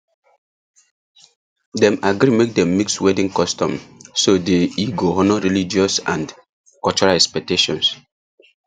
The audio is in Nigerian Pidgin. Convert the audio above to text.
dem agree make dem mix wedding customs so the e go honour religious and cultural expectations